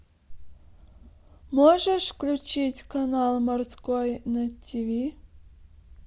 можешь включить канал морской на тв